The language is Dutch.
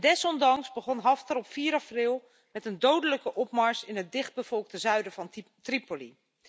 Desondanks begon Haftar op 4 april met een dodelijke opmars in het dichtbevolkte zuiden van Tripoli.